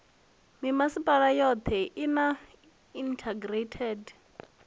mimasipala yothe i na integrated